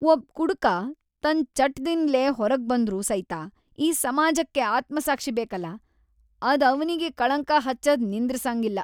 ಒಬ್ಬ್‌ ಕುಡಕ ತನ್‌ ಚಟದ್ಲಿಂದ್‌ ಹೊರಗ್ಬಂದ್ರೂ ಸೈತ ಈ ಸಮಾಜಕ್ಕ ಆತ್ಮ್‌ಸಾಕ್ಷಿ ಬೇಕಲಾ, ಅದ್ ಅವನಿಗಿ ಕಳಂಕ ಹಚ್ಚದ್‌ ನಿಂದ್ರಸಂಗಿಲ್ಲಾ‌.